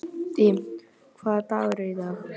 Bjöggi, hvaða dagur er í dag?